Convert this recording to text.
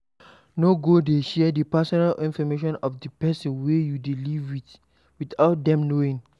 No go dey share the personal information of di person wey you dey live with without them knowing